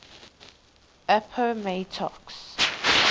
appomattox